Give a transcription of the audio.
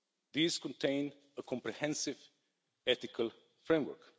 These contain a comprehensive ethical framework.